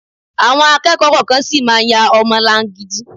Àwọn akẹ́kọ̀ọ́ kọ̀ọ̀kan sì máa ya ọmọ láńgidi